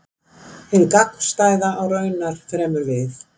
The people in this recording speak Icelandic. Hið gagnstæða á raunar fremur við.